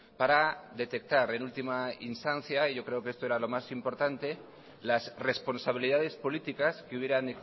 para detectar en última instancia y yo creo que esto era lo más importante las responsabilidades políticas que hubieran